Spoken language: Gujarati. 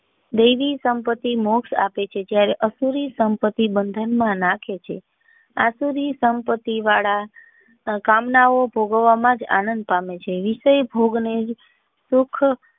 દેવી સંપત્તિ મોક્ષ આપે છે જયારે આસુરી સંપત્તિ બંધન માં નાખે છે આશારૂરી સંપત્તિ વાળા કામના ઓ ભોગવવા માં આનંદ પામે છે વિસય ભોગ ને જ સુખ.